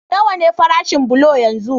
Nawa ne farashin bulo yanzu?